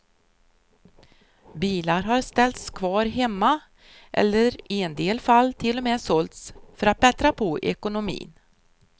Bilar har ställts kvar hemma, eller i en del fall till och med sålts, för att bättra på ekonomin.